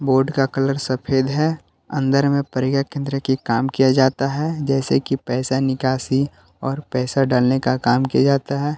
Board का colour सफेद है अंदर में प्रज्ञा केंद्र का काम किया जाता है जैसे कि पैसा निकाशी और पैसा डालने का काम किया जाता है।